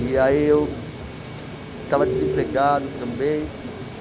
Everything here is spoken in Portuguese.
E aí eu estava desempregado também.